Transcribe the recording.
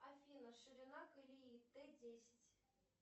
афина ширина колеи тэ десять